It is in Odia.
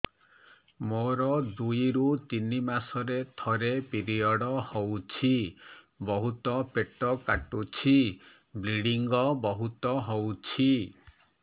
ମୋର ଦୁଇରୁ ତିନି ମାସରେ ଥରେ ପିରିଅଡ଼ ହଉଛି ବହୁତ ପେଟ କାଟୁଛି ବ୍ଲିଡ଼ିଙ୍ଗ ବହୁତ ହଉଛି